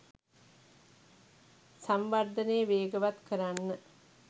සංවර්ධනය වේගවත් කරන්න